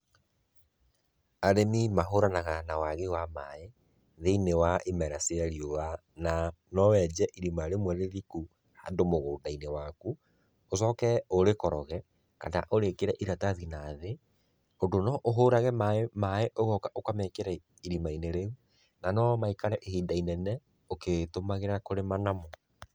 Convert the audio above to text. Arĩmĩ mahũranaga na wagi wa maaĩ, thĩiniĩ wa imera cia riũa na no wenje irima rĩmwe rĩriku, handũ mũgũnda-inĩ waku ũcoke ũrĩkoroge, kana ũrĩkĩre ĩratathi nathĩ, ũndũ no ũhũrage maaĩ, ũgoka ũkamekera irimainĩ rĩu na no maikare ihinda inene ũgĩtũmagĩra kũrĩma namo.